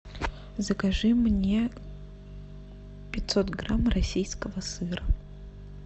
закажи мне пятьсот грамм российского сыра